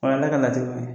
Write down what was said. O ye ala ka latigɛ ye